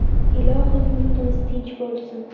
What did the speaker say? Ilohim yurtimiz tinch bo‘lsin!